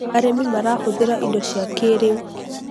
arĩmi marahũthira indo cia kĩĩrĩu